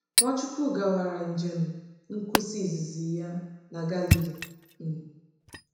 Nwachukwu gawara njem nkwusa izizi ya na Galili. um